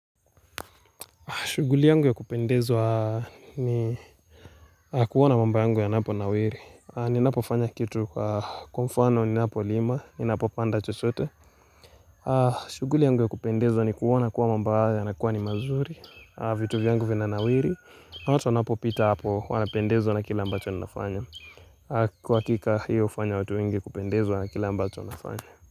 Shughuli yangu ya kupendezwa ni kuona mambo yangu yanapo nawiri. Ninapo fanya kitu kwa kumfano, ninapo lima, ninapopanda chochote. Shughuli yangu ya kupendezo ni kuona kuwa mambo ya nakuwa ni mazuri. Vitu vya yangu vina nawiri. Watu wanapopita hapo wanapendezo na kila ambacho nafanya. Kwa hakika hiyo ufanya watu ingi kupendezo na kila ambacho nafanya.